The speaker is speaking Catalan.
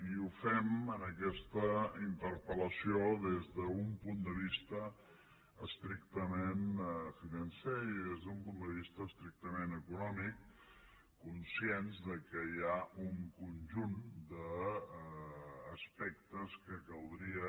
i ho fem en aquesta interpel·lació des d’un punt de vista estrictament financer i des d’un punt de vista estrictament econòmic conscients que hi ha un conjunt d’aspectes que caldria